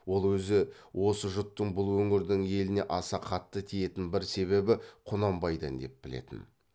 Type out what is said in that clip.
ол өзі осы жұттың бұл өңірдің еліне аса қатты тиетін бір себебі құнанбайдан деп білетін